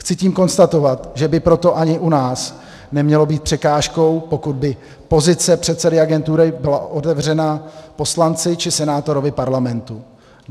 Chci tím konstatovat, že by proto ani u nás nemělo být překážkou, pokud by pozice předsedy agentury byla otevřena poslanci či senátorovi Parlamentu.